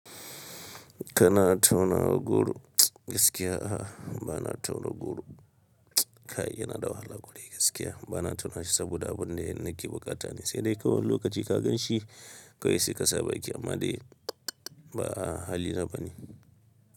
Kana tauna goro? Gaskiya a'a bana tauna goro, kai yana da wahala kwarai gaskiya bana tauna shi saboda abun da nake bukata ne sai dai kawai lokaci ka gan shi. Kawai sai ka sa baki amma dai. Ba hali na bane.